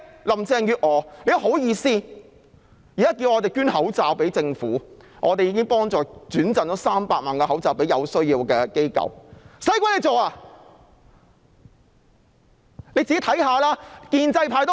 林鄭月娥現在還厚着臉皮叫我們捐口罩予政府，我們已轉贈300萬個口罩予有需要的機構，何須她去做？